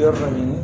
I y'a faamu